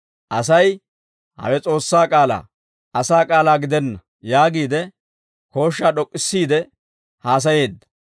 Asay, «Hawe S'oossaa k'aalaa; asaa k'aalaa gidenna» yaagiide kooshshaa d'ok'k'issiide haasayeedda.